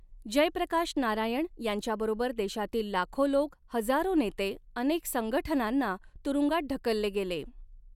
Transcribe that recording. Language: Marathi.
जयप्रकाश नारायण यांच्याबरोबर देशातील लाखो लोक, हजारो नेते, अनेक संगठनांना तुरुंगात ढकलले गेले.